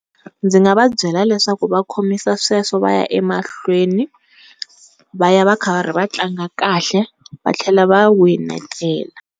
Ndzi nga va byela leswaku va khomisa sweswo va ya emahlweni va ya va karhi va tlanga kahle va tlhela va winetela.